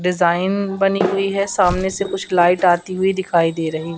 design बनी हुई है सामने से कुछ लाइट आती हुई दिखाई दे रही--